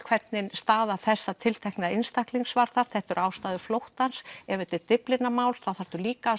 hvernig staða þessa tiltekna einstaklings var þar þetta eru ástæður flóttans ef þetta er Dyflinnarmál þá þarftu líka að